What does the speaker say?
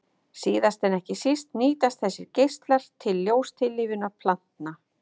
Síðast en ekki síst nýtast þessir geislar til ljóstillífunar plantna.